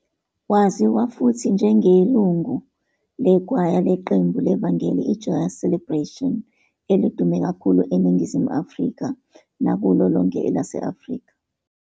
Waziwa futhi njengelungu lekhwaya leqembu levangeli iJoyous Celebration, elidume kakhulu eNingizimu Afrika kulo lonke elase-Afrika.